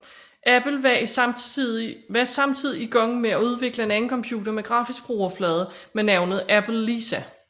Apple var samtidig i gang med at udvikle en anden computer med grafisk brugerflade med navnet Apple Lisa